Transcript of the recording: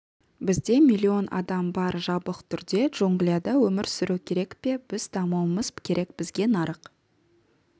бізде млн адам бар жабық түрде джунглияда өмір сүру керек пе біз дамуымыз керек бізге нарық